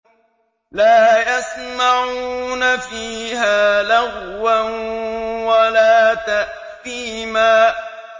لَا يَسْمَعُونَ فِيهَا لَغْوًا وَلَا تَأْثِيمًا